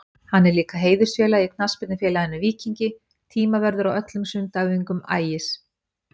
Hann er líka heiðursfélagi í knattspyrnufélaginu Víkingi, tímavörður á öllum sundæfingum Ægis.